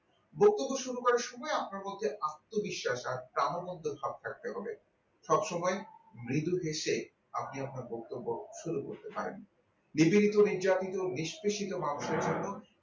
বক্তব্য শুরু করার সময় আপনার মধ্যে আত্মবিশ্বাস আর প্রাণোন্দের ভাব থাকতে হবে সব সময় মৃদু হেসে আপনি আপনার বক্তব্য শুরু করতে পারেন নিবেদিত নির্যাতিত নিস্কাশিত মানুষের জন্য